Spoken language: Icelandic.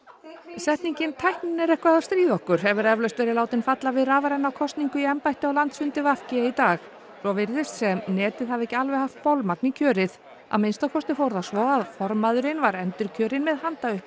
setningin tæknin er eitthvað að stríða okkur hefur eflaust verið látin falla við rafræna kosningu í embætti á landsfundi v g í dag svo virðist sem netið hafi ekki alveg haft bolmagn í kjörið að minnsta kosti fór það svo að formaðurinn var endurkjörinn með